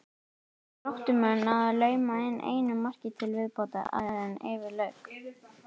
Gróttumenn náðu að lauma inn einu marki til viðbótar áður en yfir lauk.